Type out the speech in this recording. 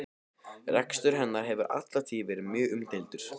Rekstur hennar hefur alla tíð verið mjög umdeildur.